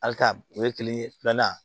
Hali ka o ye kile filanan